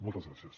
moltes gràcies